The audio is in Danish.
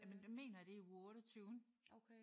Jamen det mener jeg det er i uge 28